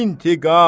İntiqam!